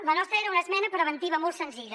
la nostra era una esmena preventiva molt senzilla